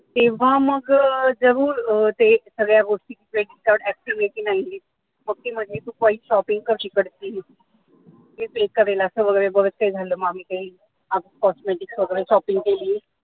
तेव्हा मग ते जरूर अं ते सगळ्या गोष्टी credit card active आहे की नाहीये मग ती म्हणे तू काही shopping कर तिकडची असं वगैरे बरच काही झालेलं मग आम्ही काही cosmetic वगैरे सगळी shopping केली